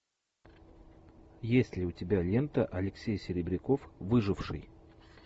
есть ли у тебя лента алексей серебряков выживший